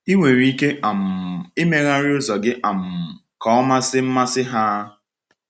Ị nwere ike um imegharị ụzọ gị um ka ọ masị mmasị ha?